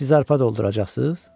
Siz arpa dolduracaqsız?